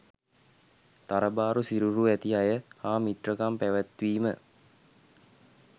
තරබාරු සිරුරු ඇති අය හා මිත්‍රකම් පැවැත්වීම